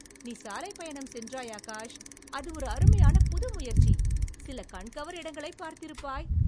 நீ சாலைப் பயணம் சென்றாய், ஆகாஷ்! அது ஒரு அருமையான புதுமுயற்சி, சில கண்கவர் இடங்களைப் பார்த்திருப்பாய்.